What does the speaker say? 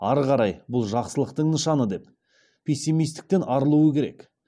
ары қарай бұл жақсылықтың нышаны деп пессимистіктен арылу керек